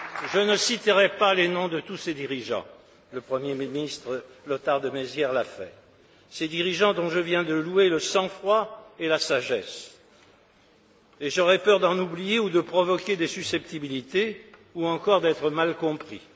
Je ne citerai pas les noms de tous ces dirigeants le Premier ministre Lothar de Maizière l'a fait ces dirigeants dont je viens de louer le sang froid et la sagesse, et j'aurais peur d'en oublier ou de provoquer des susceptibilités, ou encore d'être mal compris.